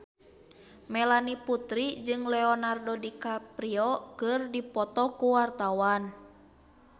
Melanie Putri jeung Leonardo DiCaprio keur dipoto ku wartawan